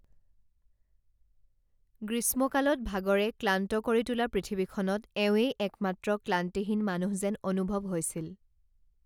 গ্ৰীষ্ম কালত ভাগৰে ক্লান্ত কৰি তোলা পৃথিৱীখনত এওৱেই একমাত্ৰ ক্লান্তিহীন মানুহ যেন অনুভৱ হৈছিল